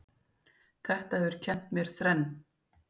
Þetta hefur kennt mér þrenn